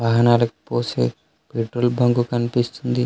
వాహనాలకు పోసే petrol bunk కనిపిస్తుంది.